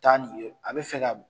Taa ni ye, a bɛ fɛ ka